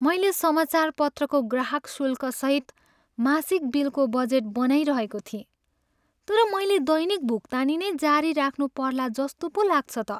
मैले समाचारपत्रको ग्राहकशुल्कसहित मासिक बिलको बजेट बनाइरहेको थिएँ, तर मैले दैनिक भुक्तानी नै जारी राख्नुपर्ला जस्तो पो लाग्छ त।